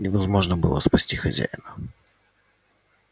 невозможно было спасти хозяина